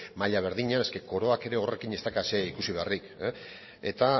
maila berdinean es que koroak ere horrekin ez dauka ezer ikusi beharrik eta